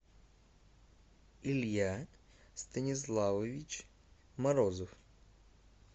илья станиславович морозов